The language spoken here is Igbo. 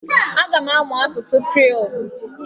Aga m amụ asụsụ Kriiol.